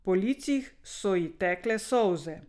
Po licih so ji tekle solze.